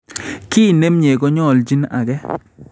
Ki nemnye konyoljin ake